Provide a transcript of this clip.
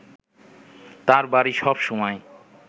তাঁর বাড়ি সব সময়